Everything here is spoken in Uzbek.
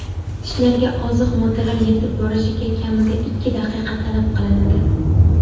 Tishlarga oziq moddalar yetib borishiga kamida ikki daqiqa talab qilinadi.